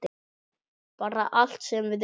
Bara allt sem við eigum.